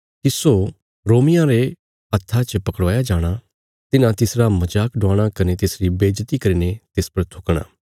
तिस्सो रोमियां रे हत्था च पकड़वाया जाणा तिन्हां तिसरा मजाक डवाणा कने तिसरी बेज्जति करीने तिस पर थुकणा